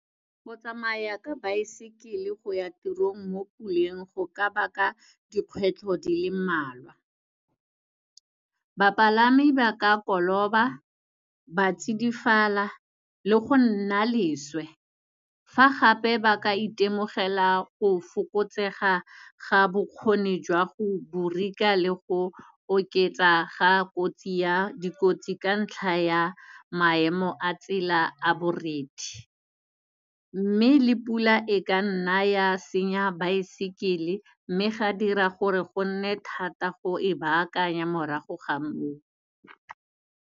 Go tsamaya ka baesekele go ya tirong mo puleng, go ka ba ka dikgwetlho di le mmalwa, bapalami ba ka koloba, ba tsidifala le go nna leswe. Fa gape ba ka itemogela go fokotsega ga bokgoni jwa go brake-a le go oketsa ga kotsi ya dikotsi, ka ntlha ya maemo a tsela a borethe. Mme, le pula e ka nna ya senya baesekele, mme ya dira gore go nne thata go e bakanya morago ga mo o.